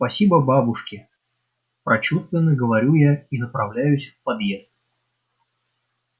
спасибо бабушки прочувственно говорю я и направляюсь в подъезд